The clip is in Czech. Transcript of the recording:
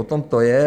O tom to je.